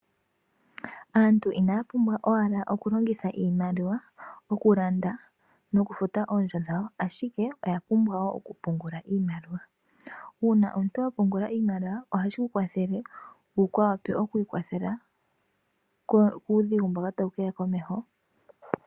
Aantu inaya pumbwa owala oku longitha iimaliwa oku landa nokufuta oondjo dhawo, ashike oya pumbwa wo oku pungula iimaliwa. Uuna omuntu wapungula iimaliwa ohashi ku kwathele wuka wape okwiikwathela kuudhigu mboka tawu keya komeho.